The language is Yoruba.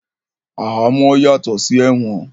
Ahamọ́ yàtọ̀ sí ẹ̀wọ̀n